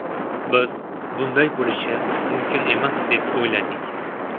Biz bunday bo‘lishi mumkin emas deb o‘yladik.